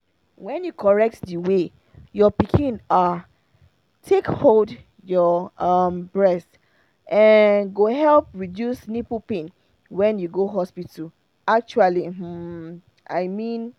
when you correct the way your pikin ah take hold your um breast um go help reduce nipple pain when you go hospital actually um i mean